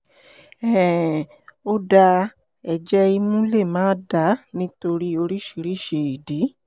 um ó dáa ẹ̀jẹ̀ imú lè máa dà nítorí oríṣiríṣi ìdí